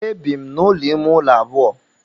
E bi m n'ụlọ ime ụlọ abụọ.